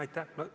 Aitäh!